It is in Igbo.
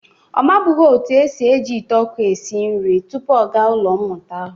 Ọ mabụghị etu e si eji ite ọkụ esi nri tupu ọ gaa ụlọ mmụta ahụ.